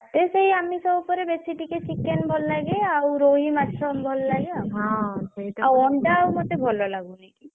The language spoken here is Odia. ମତେ ସେଇ ଆମିଷ ଉପରେ ବେଶୀ ଟିକେ chicken ଭଲ ଲାଗେ ଆଉ ରୋହି ମାଛ ଭଲ ଲାଗେ ଆଉ ଆଉ ଅଣ୍ଡା ଆଉ ମତେ ଭଲ ଲାଗୁନି।